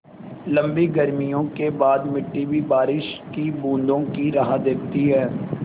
लम्बी गर्मियों के बाद मिट्टी भी बारिश की बूँदों की राह देखती है